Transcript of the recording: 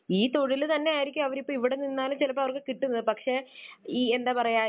ഈ തൊഴിൽ തന്നെ ആയിരിക്കും അവര് ഇപ്പോൾ ഇവിടെ നിന്നാലും ചിലപ്പോൾ അവർക്ക് കിട്ടുന്നത്. പക്ഷേ ഈ എന്താ പറയുക